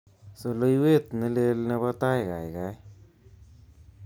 Soloiwet neleel nebo tait kaikai